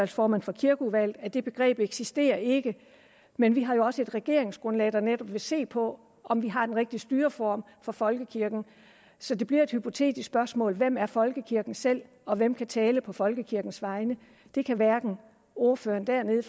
formand for kirkeudvalget at det begreb eksisterer ikke men vi har jo også et regeringsgrundlag der netop vil se på om vi har den rigtige styreform for folkekirken så det bliver et hypotetisk spørgsmål hvem er folkekirken selv og hvem kan tale på folkekirkens vegne det kan hverken ordføreren dernede